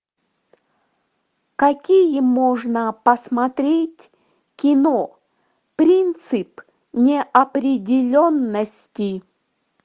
какие можно посмотреть кино принцип неопределенностей